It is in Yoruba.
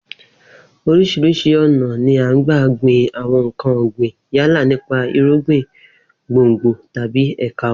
Orís̩irís̩i ò̩nà ni à ń gba gbin àwo̩n nǹkan ò̩gbìn yálà nípa irúgbìn, gbòngbò tàbí è̩ka wo̩n